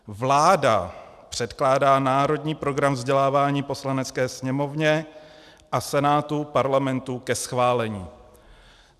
Vláda předkládá Národní program vzdělávání Poslanecké sněmovně a Senátu Parlamentu ke schválení.